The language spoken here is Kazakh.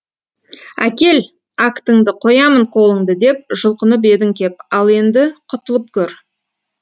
әкел актыңды қоямын қолыңды деп жұлқынып едің кеп ал енді құтылып көр